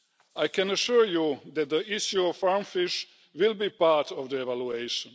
I can assure you that the issue of farm fish will be part of the evaluation.